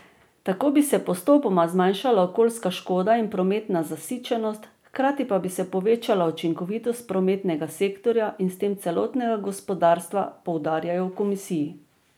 Tako bi se postopoma zmanjšali okoljska škoda in prometna zasičenost, hkrati pa bi se povečala učinkovitost prometnega sektorja in s tem celotnega gospodarstva, poudarjajo v komisiji.